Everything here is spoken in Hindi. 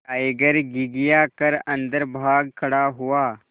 टाइगर घिघिया कर अन्दर भाग खड़ा हुआ